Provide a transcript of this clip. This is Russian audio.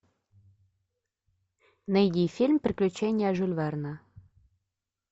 найди фильм приключения жюля верна